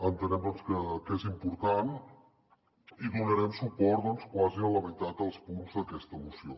entenem que és important i donarem suport quasi a la meitat dels punts d’aquesta moció